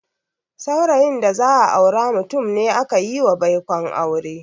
Saurayin da za a aura mutum ne akayiwa baikon aure.